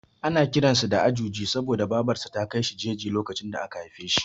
Ana kiran sa da Ajuji saboda Babar sa ta kai shi jeji lokacin da aka haife shi.